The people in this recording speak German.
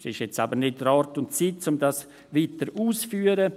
Es ist aber jetzt nicht der Ort und nicht die Zeit, um dies weiter auszuführen.